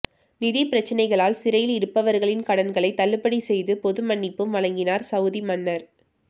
நிதி பிரச்சனைகளால் சிறையில் இருப்பவர்களின் கடன்களை தள்ளுபடி செய்து பொது மன்னிப்பும் வழங்கினார் சவுதி மன்னர்